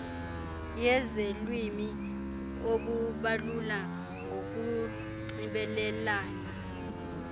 yezelwimi ukubalula kokunxibelelana